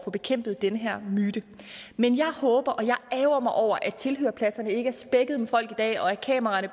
få bekæmpet den her myte men jeg ærgrer mig over at tilhørerpladserne ikke er spækket med folk i dag og at kameraerne